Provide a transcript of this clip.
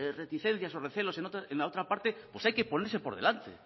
reticencias o recelos en la otra parte pues hay que ponerse por delante